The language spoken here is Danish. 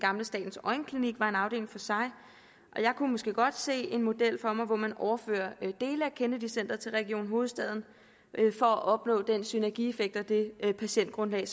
statens øjenklinik var en afdeling for sig og jeg kunne måske godt se en model for mig hvor man overførte dele af kennedy centret til region hovedstaden for at opnå den synergieffekt og det patientgrundlag